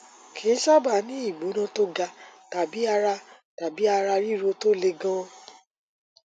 kì í sábà ní ìgbóná tó ga tàbí ara tàbí ara ríro tó le gan